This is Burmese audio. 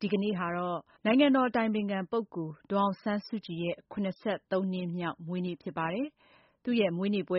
ဒီကနေ့မှာ ကျရောက်တဲ့ နိုင်ငံတော်အတိုင်ပင်ခံပုဂ္ဂိုလ် ဒေါ်အောင်ဆန်းစုကြည်ရဲ့ နှစ်မြောက်မွေးနေ့ ပွဲ